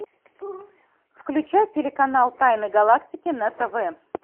включай телеканал тайны галактики на тв